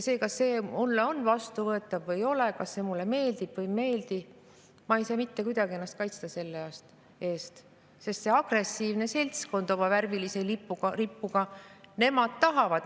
Kas see on mulle vastuvõetav või ei ole, kas see mulle meeldib või ei meeldi, aga ma ei saa mitte kuidagi ennast selle eest kaitsta, sest see agressiivne seltskond oma värvilise lipuga, nemad seda tahavad.